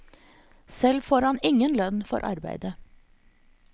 Selv får han ingen lønn for arbeidet.